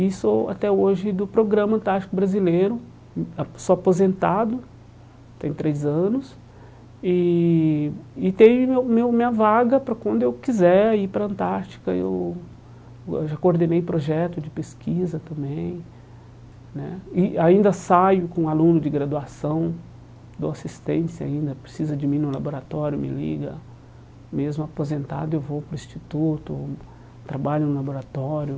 e sou até hoje do Programa Antártico Brasileiro, apo sou aposentado, tem três anos, e e tenho meu minha vaga para quando eu quiser ir para a Antártica, eu eu já coordenei projeto de pesquisa também né, e ainda saio com aluno de graduação, dou assistência ainda, precisa de mim no laboratório, me liga, mesmo aposentado eu vou para o instituto, trabalho no laboratório,